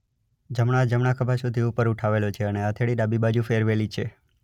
જમણો હાથ જમણા ખભા સુધી ઉપર ઉઠાવેલો છે અને હથેળી ડાબી બાજુ ફેરવેલી છે.